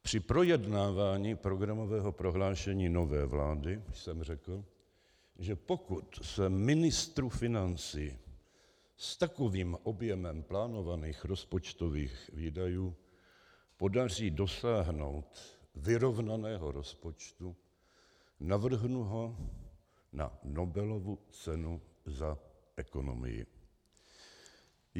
Při projednávání programového prohlášení nové vlády jsem řekl, že pokud se ministru financí s takovým objemem plánovaných rozpočtových výdajů podaří dosáhnout vyrovnaného rozpočtu, navrhnu ho na Nobelovu cenu za ekonomii.